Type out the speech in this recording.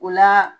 O la